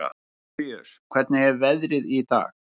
Orfeus, hvernig er veðrið í dag?